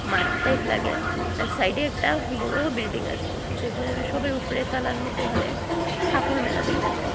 মাঠটায় ফ্ল্যাগে সাইডে একটা বড়ো বিল্ডিং আসে যেখানে সবের উফরে তালার মধ্যে খালি কাফড় মেলা দেখা যায়।